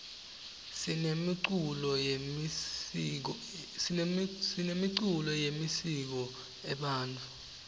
sinemiculo yemisiko ebantfu